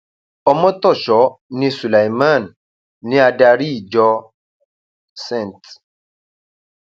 ọmọtọṣọ ní sulaiman ní adarí ìjọ st